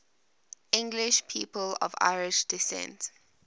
english people of irish descent